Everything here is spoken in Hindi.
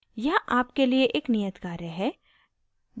यहाँ आपके लिए एक नियत कार्य है